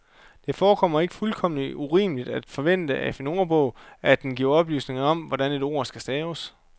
Det forekommer ikke fuldkommen urimeligt at forvente af en ordbog, at den giver oplysning om, hvordan et ord skal staves.